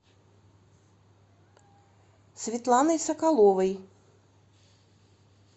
светланой соколовой